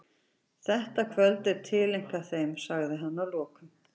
Þetta kvöld er tileinkað þeim, sagði hann að lokum.